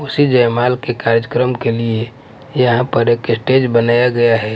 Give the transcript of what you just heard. उसी जयमाल के कार्जकर्म के लिए यहाँ पर एक स्टेज बनाया गया है।